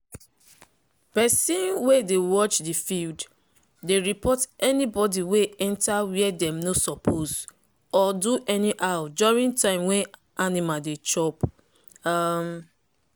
persin wey dey watch the field dey report anybody wey enter where dem no suppose or do anyhow during time when animal dey chop. um